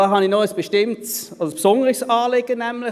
Dazu habe ich noch ein besonderes Anliegen.